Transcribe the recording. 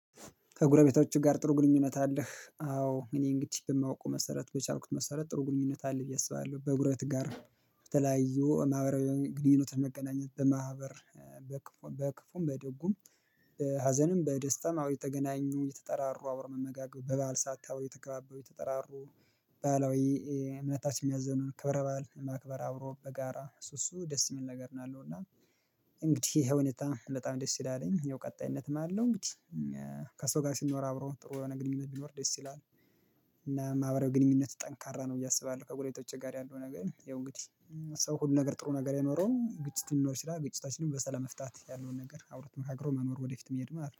ከእግረቤቶች ጋር ጥሩ ግንኙነት አለህ? አዎ እኔ እንግዲህ በማውቀው መሰረት በቻልኩት መሰረት ጥሩ ግንኙነት አለ ብዬ አስባለሁ በጎረቤት ጋር ተለያዩ ማህበራዊ ግንኙነት መገናኘት በማህበር በክፉ በድጉም ሀዘንም በደስታም አወ እየተገናኙ የተጠራሩ አብሮ መመጋገብ በባል ሰዓት እወ የተገባበው የተጠራሩ። ባህላዊ እምነታችን የሚያዝዘን ክብረ ባል ማክበር አብሮ በጋራ እሱ እሱ ደስ የሚል ነገር ነው። እና እንግዲህ ይሄ ሁኔታ በጣም ደስ ይላልኝ የው ቀጣይነት ነው ያለው። እንግዲህ ከሰው ጋር ስንኖር አብረው ጥሩ የሆነ ግንኙነት ቢኖር ደስ ይላል። እና ማህበራዊ ግንኙነት ጠንካራ ነው እያሰባለሁ ከጎረቤቶች ጋር ያለው ነገር የሆነ እንግዲህ ሰው ሁሉ ነገር ጥሩ ነገር አይኖረው ግጭትን ሊኖር ይችላል። ግጭታችንን በሰላም መፍታት ያለውን ነገር አብሮ ተመካክሮ መኖር ወደፊት መሄድ ማለት ነው